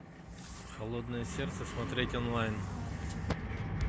холодное сердце смотреть онлайн